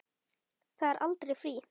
Það er aldrei frí.